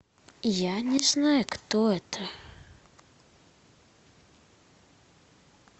я не знаю кто это